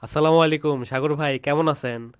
আস্সালামালাইকুম সাগর ভাই কেমন আছেন?